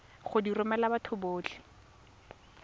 go di romela batho botlhe